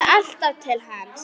Ég hugsa alltaf til hans.